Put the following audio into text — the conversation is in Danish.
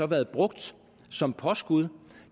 været brugt som påskud